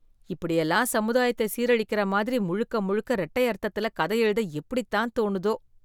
இப்படியெல்லாம் சமுதாயத்தை சீரழிக்கிற மாதிரி முழுக்க முழுக்க ரெட்டை அர்த்தத்துல கதை எழுத எப்படித்தான் தோணுதோ.